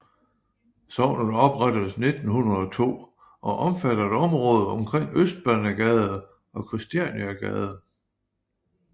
Sognet oprettedes 1902 og omfatter et område omkring Østbanegade og Kristianiagade